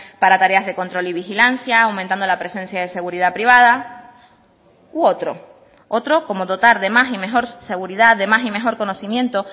para tareas de control y vigilancia aumentando la presencia de seguridad privada u otro otro como dotar de más y mejor seguridad de más y mejor conocimiento